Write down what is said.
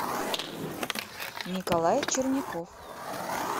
николай черняков